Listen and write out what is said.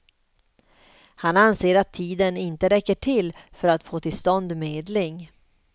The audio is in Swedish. Han anser att tiden inte räcker till för att få till stånd medling.